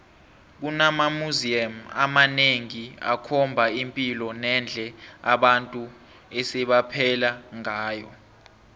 kunama museum amanengi akhomba ipilo nendle abantu ebebaphela ngayo